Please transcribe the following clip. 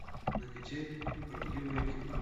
накачай правдивое кино